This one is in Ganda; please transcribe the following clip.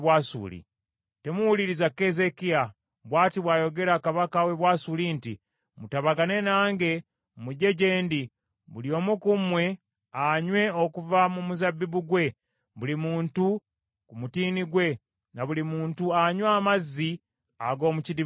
“Temuwuliriza Keezeekiya. Bw’ati bw’ayogera kabaka w’e Bwasuli nti, ‘Mutabagane nange mujje gye ndi, buli omu ku mmwe anywe okuva mu muzabbibu ggwe, buli muntu ku mutiini gwe, na buli muntu anywe amazzi ag’omu kidiba kye ye;